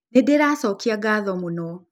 Nĩndĩracokia ngatho mũno